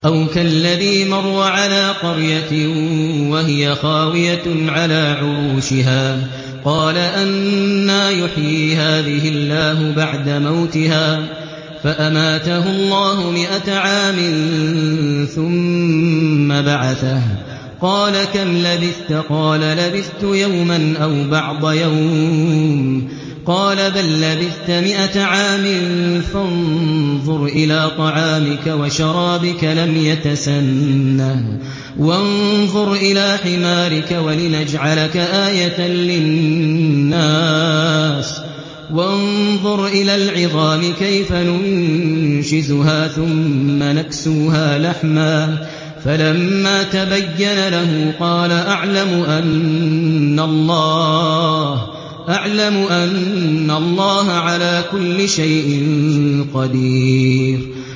أَوْ كَالَّذِي مَرَّ عَلَىٰ قَرْيَةٍ وَهِيَ خَاوِيَةٌ عَلَىٰ عُرُوشِهَا قَالَ أَنَّىٰ يُحْيِي هَٰذِهِ اللَّهُ بَعْدَ مَوْتِهَا ۖ فَأَمَاتَهُ اللَّهُ مِائَةَ عَامٍ ثُمَّ بَعَثَهُ ۖ قَالَ كَمْ لَبِثْتَ ۖ قَالَ لَبِثْتُ يَوْمًا أَوْ بَعْضَ يَوْمٍ ۖ قَالَ بَل لَّبِثْتَ مِائَةَ عَامٍ فَانظُرْ إِلَىٰ طَعَامِكَ وَشَرَابِكَ لَمْ يَتَسَنَّهْ ۖ وَانظُرْ إِلَىٰ حِمَارِكَ وَلِنَجْعَلَكَ آيَةً لِّلنَّاسِ ۖ وَانظُرْ إِلَى الْعِظَامِ كَيْفَ نُنشِزُهَا ثُمَّ نَكْسُوهَا لَحْمًا ۚ فَلَمَّا تَبَيَّنَ لَهُ قَالَ أَعْلَمُ أَنَّ اللَّهَ عَلَىٰ كُلِّ شَيْءٍ قَدِيرٌ